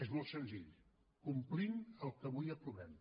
és molt senzill complint el que avui aprovem